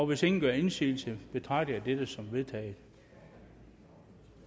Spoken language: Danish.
hvis ingen gør indsigelse betragter jeg dette som vedtaget